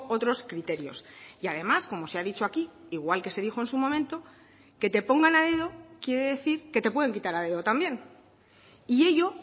otros criterios y además como se ha dicho aquí igual que se dijo en su momento que te pongan a dedo quiere decir que te pueden quitar a dedo también y ello